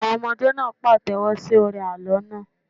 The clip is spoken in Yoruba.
Àwọn ọmọdé náà pàtẹ́wọ́ sí orin àlọ́ náà.